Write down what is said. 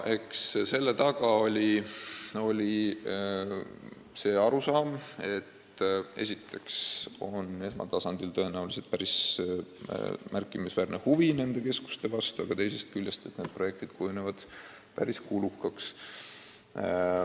Eks selle taga oli arusaam, et esiteks on esmatasandil tõenäoliselt päris märkimisväärne huvi nende keskuste vastu, aga teisest küljest kujunevad need projektid päris kulukaks.